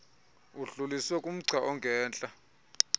udluliselwe kumgca ongentla